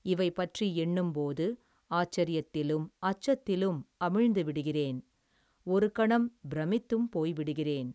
இவை பற்றி எண்ணும் போது, ஆச்சரியத்திலும், அச்சத்திலும், அமிழ்ந்து விடுகிறேன், ஒரு கணம், பிரமித்தும் போய்விடுகிறேன்.